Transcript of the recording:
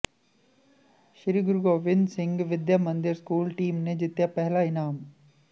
ਸ੍ਰੀ Guru Gobind Singh Vidya Mandir school team ਨੇ ਜਿੱਤਿਆ ਪਹਿਲਾ ਇਨਾਮ